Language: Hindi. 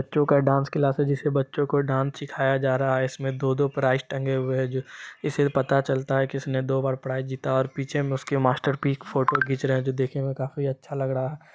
बच्चों का डांस क्लास है जिससे बच्चों को डांस सिखाया जा रहा है इसमें दो दो प्राइस टंगे हुए हैं जो इससे पता चलता है कि किसने दो बार प्राइस जीता है और पीछे में उसके मास्टर जी फोटो खींच रहे हैं जो देखने में काफी अच्छा लग रहा है।